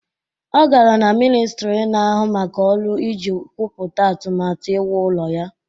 Ọ gara na ministri na-ahụ maka ọrụ iji kwupụta atụmatụ iwu ụlọ ya